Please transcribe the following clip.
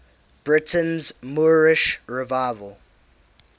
britain's moorish revival